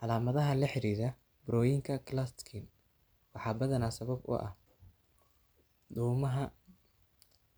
Calaamadaha la xidhiidha burooyinka Klatskin waxaa badanaa sabab u ah dhuumaha